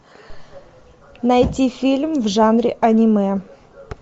найти фильм в жанре аниме